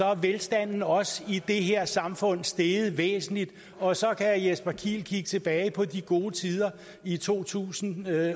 er velstanden også i det her samfund steget væsentligt og så kan herre jesper kiel kigge tilbage på de gode tider i to tusind